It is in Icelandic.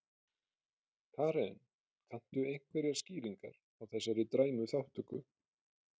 Karen: Kanntu einhverjar skýringar á þessari dræmu þátttöku?